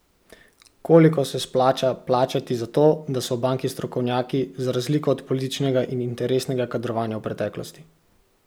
Koliko se splača plačati za to, da so v banki strokovnjaki, za razliko od političnega in interesnega kadrovanja v preteklosti?